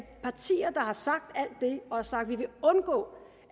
partier som har sagt alt det og har sagt at de vil undgå